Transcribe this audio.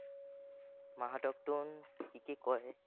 মাহঁতকনো কি কি কয়